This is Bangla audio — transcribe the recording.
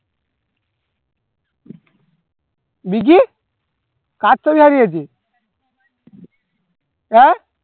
ঋজী কার চাবি হারিয়েছে আহ